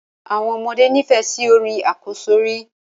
Àwọn ọmọdé nifẹ sí orin àkọ́sọ́rí